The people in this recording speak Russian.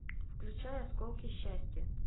включай осколки счастья